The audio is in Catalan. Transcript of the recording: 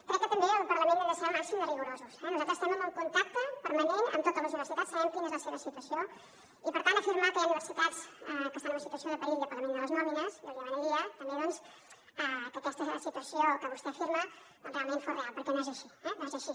crec que també al parlament hem de ser al màxim de rigorosos eh nosaltres estem en un contacte permanent amb totes les universitats sabem quina és la seva situació i per tant afirmar que hi ha universitats que estan en una situació de perill de pagament de les nòmines jo li demanaria també doncs que aquesta situació que vostè afirma realment fos real perquè no és així eh no és així